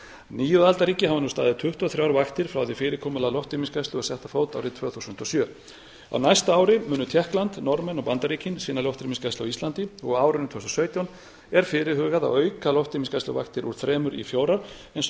níu aðildarríki hafa nú staðið tuttugu og þrjár vaktir frá því að fyrirkomulag loftrýmisgæslu var sett á fót árið tvö þúsund og sjö á næsta ári munu tékkland norðmenn og bandaríkin sinna loftrýmisgæslu á íslandi og árinu tvö þúsund og sautján er fyrirhugað að auka loftrýmisgæsluvaktir úr þremur í fjórar eins og í